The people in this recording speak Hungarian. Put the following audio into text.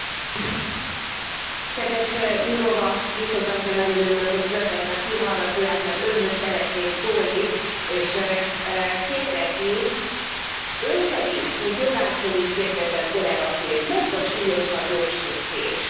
Elnök Úr! Kedves Jourová biztos asszony! Nagyon örülök, hogy föltette a fülhallgatóját, mert Önhöz szeretnék szólni, és kérdezni, Ön szerint, mint jogásztól is kérdezem, kollegaként, melyik a súlyosabb jogsértés?